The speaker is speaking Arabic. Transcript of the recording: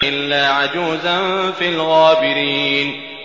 إِلَّا عَجُوزًا فِي الْغَابِرِينَ